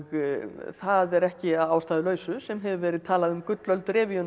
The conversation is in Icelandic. það er ekki að ástæðulausu sem hefur verið talað um gullöld